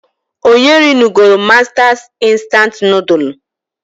Onye rinugolu Mastas instant nodulu?